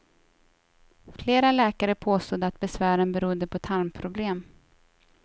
Flera läkare påstod att besvären berodde på tarmproblem.